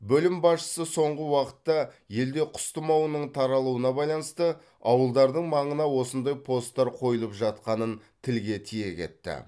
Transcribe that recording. бөлім басшысы соңғы уақытта елде құс тұмауының таралуына байланысты ауылдардың маңына осындай посттар қойылып жатқанын тілге тиек етті